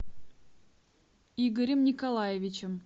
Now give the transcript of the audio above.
игорем николаевичем